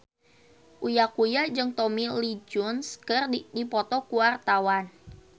Uya Kuya jeung Tommy Lee Jones keur dipoto ku wartawan